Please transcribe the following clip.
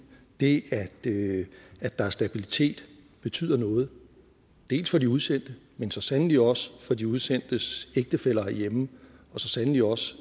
det det at der er stabilitet betyder noget for de udsendte men så sandelig også for de udsendtes ægtefæller herhjemme og så sandelig også